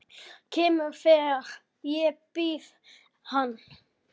Kemur þegar ég bið hann.